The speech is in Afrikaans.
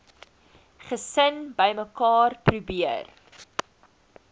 gesin bymekaar probeer